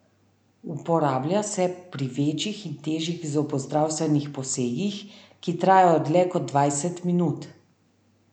Uporablja se pri večjih in težjih zobozdravstvenih posegih, ki trajajo dlje kot dvajset minut.